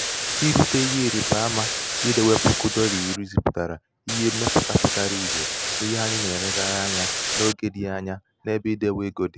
irūtē ihe ịrị̀baamā idewe puku dọlà iri zipùtàrà ihe mmepùte pụtara ìhè n’ihe anyị nà-elegara anya n’ogē dị̄ anya n’ebe idēwē ego dị̀